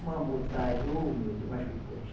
Uma, ô meu Deus, mas foi teste